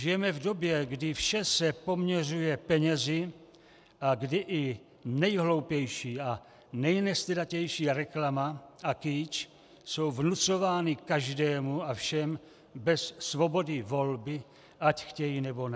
Žijeme v době, kdy vše se poměřuje penězi a kdy i nejhloupější a nejnestydatější reklama a kýč jsou vnucovány každému a všem bez svobody volby, ať chtějí, nebo ne.